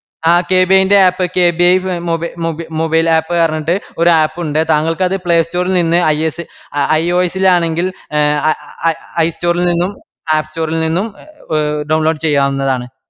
ആ K B A ന്റെ app K B I മോബൈ മൊബി mobile app ന്ന് പറഞ്ഞിട്ട് ഒര് app ഉണ്ട്. താങ്കൾക്ക് അത് play store ഇൽ നിന്ന് ഐ സ് ഓ iOs ഇത് ആണെങ്കിൽ i-store ഇൽ നിന്നും app store ഇൽ നിന്നും download ചെയ്യാവുന്നതാണ്.